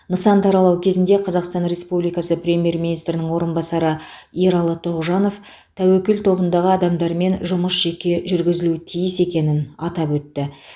нысанды аралау кезінде қазақстан республикасы премьер министрінің орынбасары ералы тоғжанов тәуекел тобындағы адамдармен жұмыс жеке жүргізілуі тиіс екенін атап өтті